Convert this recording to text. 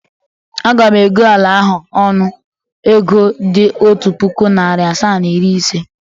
Aga m ego ala ahụ ọnụ ego dị otu puku, narị asaa na iri ise.